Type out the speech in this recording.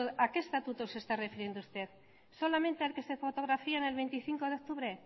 a que estatutos se esta refiriendo usted solamente a los que se fotografían el veinticinco de octubre